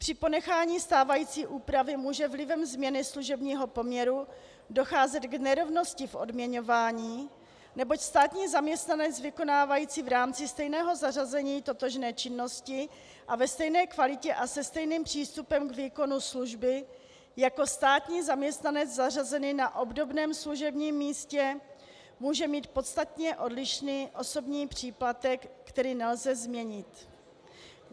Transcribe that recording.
Při ponechání stávající úpravy může vlivem změny služebního poměru docházet k nerovnosti v odměňování, neboť státní zaměstnanec vykonávající v rámci stejného zařazení totožné činnosti a ve stejné kvalitě a se stejným přístupem k výkonu služby jako státní zaměstnanec zařazený na obdobném služebním místě může mít podstatně odlišný osobní příplatek, který nelze změnit.